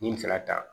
Ni fɛɛrɛ ta